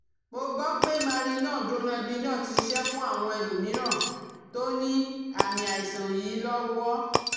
Mo gbọ́ pé Marinol/Dronabinol ti ṣiṣẹ́ fún àwọn ẹlòmíràn tó ní àmì àìsàn yìí lọ́wọ́